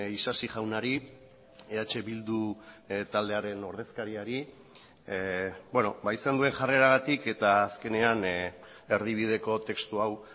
isasi jaunari eh bildu taldearen ordezkariari izan duen jarreragatik eta azkenean erdibideko testu hau